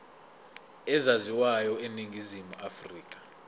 ezaziwayo eningizimu afrika